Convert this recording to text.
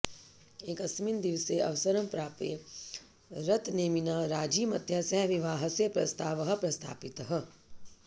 एकस्मिन् दिवसे अवसरं प्राप्य रथनेमिना राजीमत्या सह विवाहस्य प्रस्तावः प्रस्थापितः